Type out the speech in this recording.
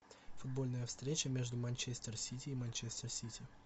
футбольная встреча между манчестер сити и манчестер сити